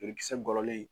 Jolikisɛ gɔlɔlen